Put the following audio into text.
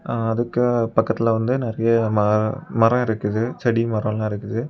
அ அதுக்கு பக்கத்துல வந்து நெறைய ம மரம் இருக்குது செடி மரோலா இருக்கிறது.